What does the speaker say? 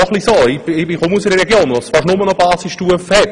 Ich komme aus einer Region, in der es fast nur noch Basisstufen gibt.